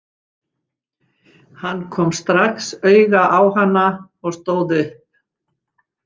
Hann kom strax auga á hana og stóð upp.